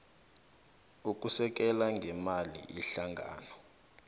ukusekela ngeemali ihlangano